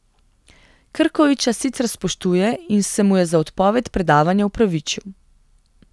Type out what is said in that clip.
Krkoviča sicer spoštuje in se mu je za odpoved predavanja opravičil.